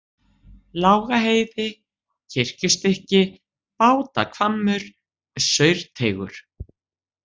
Lágaheiði, Kirkjustykki, Bátahvammur, Saurteigur